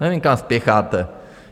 Nevím, kam spěcháte.